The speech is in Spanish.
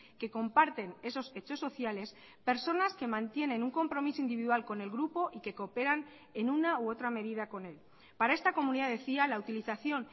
que comparten esos hechos sociales personas que mantienen un compromiso individual con el grupo y que cooperan en una u otra medida con él para esta comunidad decía la utilización